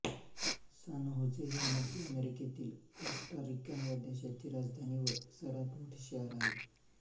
San Jose ही मध्य अमेरिकेतील कोस्टा रिका ह्या देशाची राजधानी व सर्वांत मोठे शहर आहे